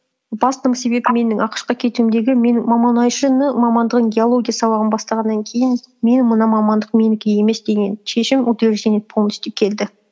басты себебім менің ақш қа кетуімдегі менің мұнайшыны мамандығын геология сабағын бастағаннан кейін мен мына мамандық менікі емес деген шешім утверждение полностью келді